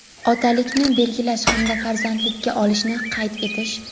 otalikni belgilash hamda farzandlikka olishni) qayd etish;.